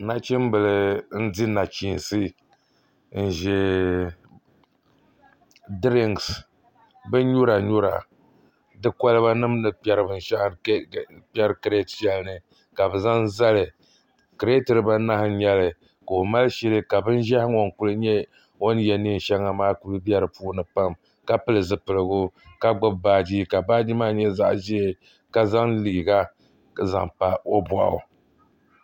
Nachimbili n di nachiinsi n ʒɛ bin nyura nyura di kolba nim ni kpɛri binshaɣu kirɛt shɛli ni ka bi zaŋ zali kirɛt dibanahi n nyɛli ka o mali shili ka bin ʒiɛhi ŋo n ku nyɛ o ni yɛ neen shɛŋa maa ku bɛ di puuni pam ka pili zipiligu ka gbubi baaji ka baaji maa nyɛ zaɣ ʒiɛ ka zaŋ liiga n zaŋ pa o boɣu